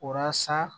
Walasa